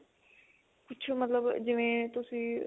ਕੁੱਝ ਮਤਲਬ ਜਿਵੇਂ ਤੁਸੀਂ